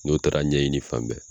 N'o taara ɲɛɲini fan bɛɛ